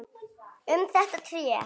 Um þetta tré.